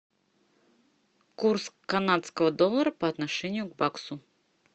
курс канадского доллара по отношению к баксу